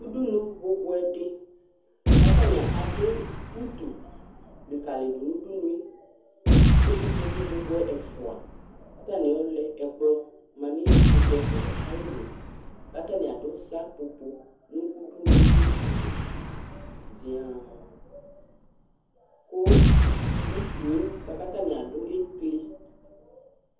Ʋɖʋnu bʋbʋɛ ɖi kʋ ataŋi aɖu ʋtu likalìɖʋ ŋu ʋɖʋnue kʋ ikpoku bʋbʋɛ ɛfʋa kʋ ataŋi ayɔ lɛ ɛkplɔ manʋ ikpoku ɛfʋa'ɛ ayìlí kʋ ataŋi aɖu seƒoƒo ŋu ʋɖʋnue likalìɖʋ zia kʋ ʋtue kʋ ataŋi aɖu ɛkli